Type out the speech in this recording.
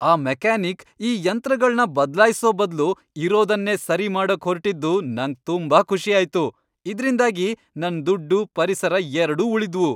ಆ ಮೆಕ್ಯಾನಿಕ್ ಈ ಯಂತ್ರಗಳ್ನ ಬದ್ಲಾಯ್ಸೋ ಬದ್ಲು ಇರೋದನ್ನೇ ಸರಿ ಮಾಡೋಕ್ ಹೊರ್ಟಿದ್ದು ನಂಗ್ ತುಂಬಾ ಖುಷಿ ಆಯ್ತು. ಇದ್ರಿಂದಾಗಿ ನನ್ ದುಡ್ಡು, ಪರಿಸರ ಎರ್ಡೂ ಉಳಿದ್ವು!